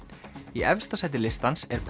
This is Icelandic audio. í efsta sæti listans er